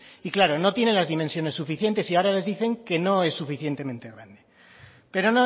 y claro no tiene las dimensiones suficientes y ahora les dicen que no es suficientemente grande pero